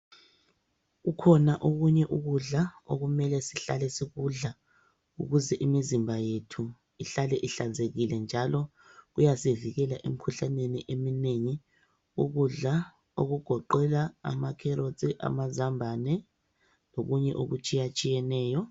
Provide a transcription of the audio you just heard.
Kukhona okunye ukudla okumele sihlale sikudla ukuze imizimba yethu ihlale ihlanzekile njalo kuyasivikela emkhuhlaneni eminengi ukudla okugoqela ama kherotsi amazambane lokunye okutshiyatshiyeneyo.